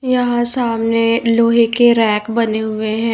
यहां सामने लोहे के रैक बने हुए हैं।